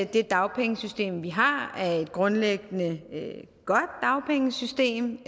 det dagpengesystem vi har er et grundlæggende godt dagpengesystem